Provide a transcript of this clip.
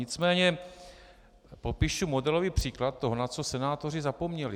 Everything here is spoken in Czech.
Nicméně popíšu modelový příklad toho, na co senátoři zapomněli.